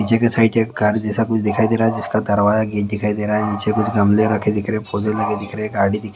पीछे के साइड एक कार जैसा कुछ दिखाई दे रहा है जिसका दरवाजा गीत दिखाई दे रहा है नीचे कुछ गमले रखे दिख रहे पौधे लगे दिख रहे गाड़ी दिखाइए--